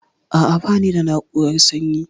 A'a, bani da na'urar sanyi.